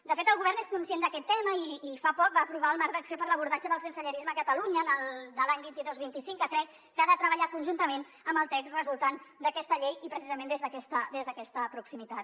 de fet el govern és conscient d’aquest tema i fa poc va aprovar el marc d’acció per a l’abordatge del sensellarisme a catalunya dels anys vint dos vint cinc que crec que ha de treballar conjuntament amb el text resultant d’aquesta llei i precisament des d’aquesta proximitat